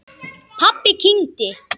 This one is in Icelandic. Pabbi kyngdi.